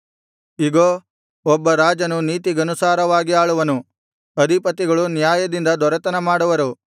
ಇಗೋ ಒಬ್ಬ ರಾಜನು ನೀತಿಗನುಸಾರವಾಗಿ ಆಳುವನು ಅಧಿಪತಿಗಳು ನ್ಯಾಯದಿಂದ ದೊರೆತನ ಮಾಡುವರು